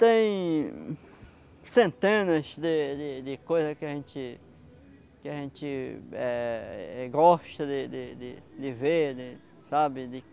Tem centenas de de de de coisas que a gente que a gente eh gosta de de de de ver, de... sabe? De